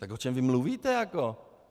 Tak o čem vy mluvíte jako?